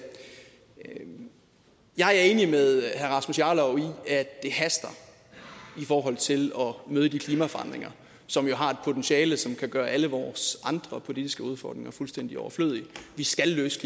jeg er enig med herre rasmus jarlov i at det haster i forhold til at møde de klimaforandringer som jo har et potentiale som kan gøre alle vores andre politiske udfordringer fuldstændig overflødige vi skal løse